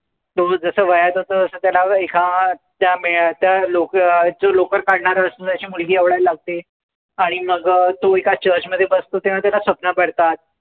तो जसं वयात येतो, तसं त्याला एका त्या मे लो जो लोकर काढणारा असतो त्याची मुलगी आवडायला लागते. आणि मग तो एका church मध्ये बसतो तेंव्हा त्याला स्वप्न पडतात.